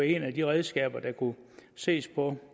et af de redskaber der kunne ses på